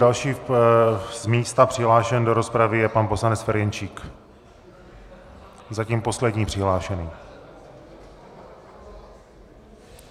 Další z místa přihlášený do rozpravy je pan poslanec Ferjenčík, zatím poslední přihlášený.